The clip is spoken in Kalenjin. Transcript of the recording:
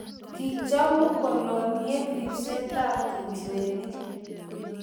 kichomu koloniek ribsetab nchirenik.